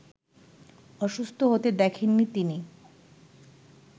অসুস্থ হতে দেখেননি তিনি